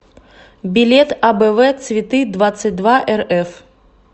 билет абэвэ цветыдвадцатьдваэрэф